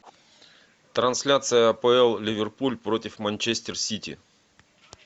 трансляция апл ливерпуль против манчестер сити